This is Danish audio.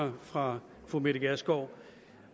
mig fra fru mette gjerskov